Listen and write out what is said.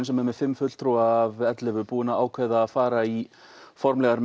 sem er með fimm fulltrúa af ellefu að fara í formlegar